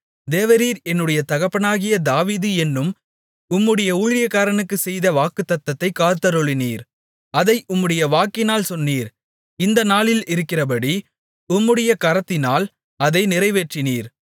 தேவரீர் என்னுடைய தகப்பனாகிய தாவீது என்னும் உம்முடைய ஊழியனுக்குச் செய்த வாக்குத்தத்தத்தைக் காத்தருளினீர் அதை உம்முடைய வாக்கினால் சொன்னீர் இந்த நாளில் இருக்கிறபடி உம்முடைய கரத்தினால் அதை நிறைவேற்றினீர்